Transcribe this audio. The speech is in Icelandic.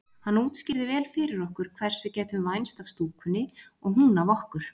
Hann útskýrði vel fyrir okkur hvers við gætum vænst af stúkunni og hún af okkur.